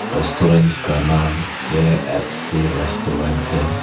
Restaurant का नाम KFC restaurant है।